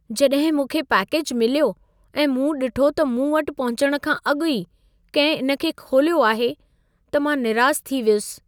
जॾहिं मूंखे पैकेज मिल्यो ऐं मूं डि॒ठो त मूं वटि पहुचणु खां अॻु ई कंहिं इन खे खोलियो आहे, त मां निरास थी वियुसि।